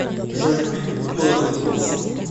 джой купить доллары курс